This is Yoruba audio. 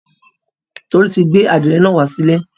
Tolu ti gbé àdìrẹ́ náà wá sílé.